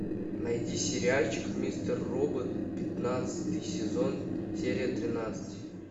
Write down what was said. найди сериальчик мистер робот пятнадцатый сезон серия тринадцать